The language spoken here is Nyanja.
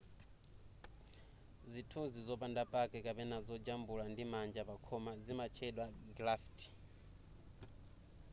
zithunzi zopanda pake kapena zojambula ndimanja pa khoma zimatchedwa graffiti